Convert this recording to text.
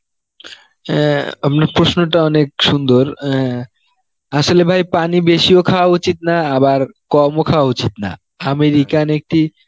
অ্যাঁ আপনার প্রশ্নটা অনেক সুন্দর অ্যাঁ আসলে ভাই পানি বেশিও খাওয়া উচিত না আবার কমও খাওয়া উচিত না, American একটি